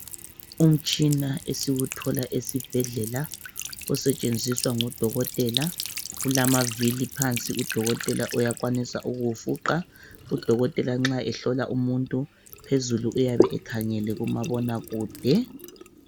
Umtshina esiwuthola esibhedlela osetshenziswa ngudokotela. Ulamavili phansi udokotela uyakwanisa ukuwufuqa. Udokotela nxa ehlola umuntu Uyabe ekhangela kumabona kude.